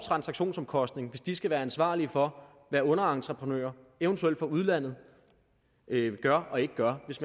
transaktionsomkostning hvis de skal være ansvarlige for hvad underentreprenører eventuelt fra udlandet gør og ikke gør og hvis